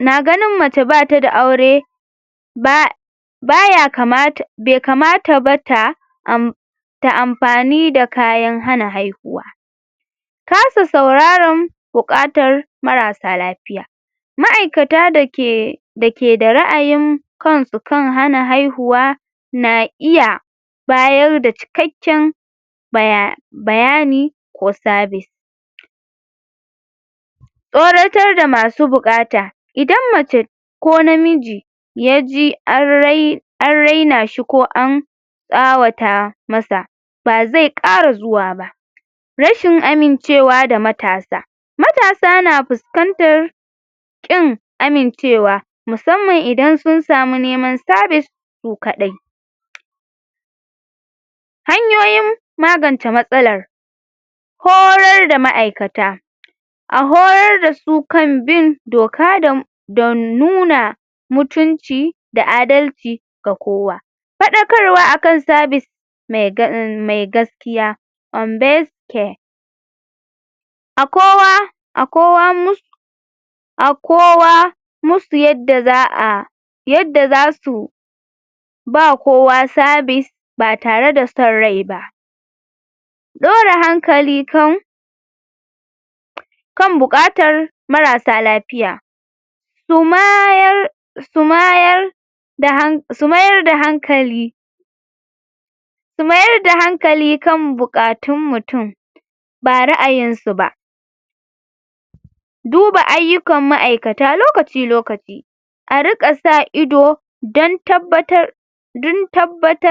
na ganun mace batada aure ba baya kamata be kamata bata am ta amfani da kayan hana haihuwa tasu sauraran bukatan marasa lafiya ma 'aikata dake dake da ra'ayin kansu kan hana haihuwa na iya bayarda cikakken baya bayani wa service tsoratar da masu bukata idan mace ko namiji yaji an rai an raina shi ko an sawata masa ba zai kara zuwa ba rashin amincewa da matasa matasa na fuskantar kin amincewa musamman ida sun samu neman service su kadai hanyoyin magance matsalar horar da ma'aikata a horar dasu kan bin doka da don nuna mutunci da adalci ga kowa fadakarwa akan service megan mm me gaskiya (on base care) akowa akowa a kowa a kowa mus a kowa musti yadda za'a yadda zasu ba kowa service ba tareda son raiba dora hankali kan kan buakatar marasa lafiya su maayar su maayar da hank su mayar da hankali su mayarda hankali kan bukatun mutum ba ra'ayinsu ba duba ayyukan ma'aikata lokaci lokaci a rika sa ido dan tabbatar dun tabbatar